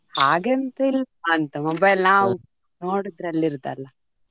ಹಾಗೆ ಎಂತ ಇಲ್ಲ ಅಂತ mobile ನಾವ್ ನೋಡುದ್ರಲ್ಲಿ ಇರುದಂತ ಇರುದು ಅಲ್ಲ ಕಡಿಮೆದ್ದು ಸ ಇರ್ತದೆ mobile .